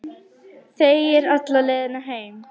Þegir alla leiðina heim.